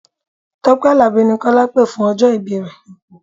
Tọ́pẹ́ Àlàbí ni Kọ́lá pè fún ọjọ́ ìbí rẹ.